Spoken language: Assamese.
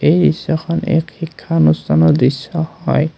এই দৃশ্যখন এক শিক্ষা অনুষ্ঠানৰ দৃশ্য হয়।